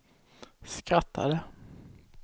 skrattade